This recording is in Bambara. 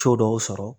Co dɔw sɔrɔ